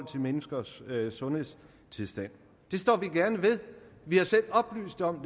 til menneskers sundhedstilstand det står vi gerne ved vi har selv oplyst om